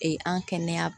Ee an kɛnɛya